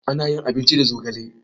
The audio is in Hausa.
Ana yin abinci da zogale.